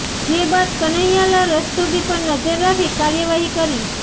જે બાદ કન્હૈયાલાલ રસ્તોગી પર નજર રાખી કાર્યવાહી કરી